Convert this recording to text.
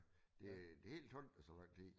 Det det helt tombe det så lang tid